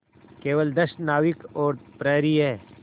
केवल दस नाविक और प्रहरी है